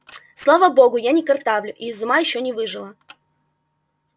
слава богу я не картавлю и из ума ещё не выжила